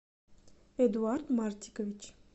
эдуард мартикович